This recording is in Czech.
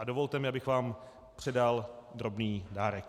A dovolte mi, abych vám předal drobný dárek.